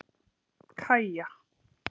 Kaja